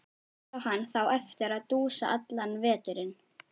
Hér á hann þá eftir að dúsa allan veturinn.